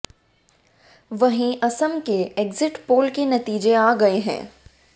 वहीं असम के exit poll के नतीजे आ गए हैं